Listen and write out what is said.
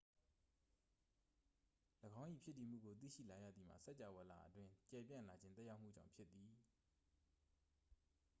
၎င်း၏ ဖြစ်တည်မှုကို သိရှိလာရသည်မှာ စကြာဝဠာအတွင်း ကျယ်ပြန့်လာခြင်း သက်ရောက်မှုကြောင့် ဖြစ်သည်